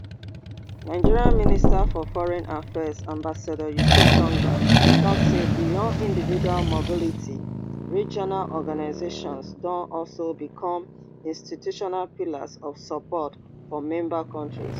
nigeria minister for foreign affairs ambassador yusuf tuggar tok say beyond individual mobility regional organizations don also become institutional pillars of support for member kontris